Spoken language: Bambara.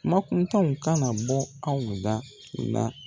Kuma kuntanw kana bɔ aw da la.